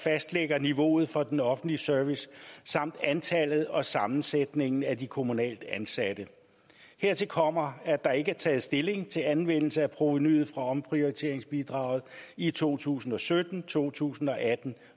fastlægger niveauet for den offentlige service samt antallet og sammensætningen af de kommunalt ansatte hertil kommer at der ikke er taget stilling til anvendelse af provenuet fra omprioriteringsbidraget i to tusind og sytten to tusind og atten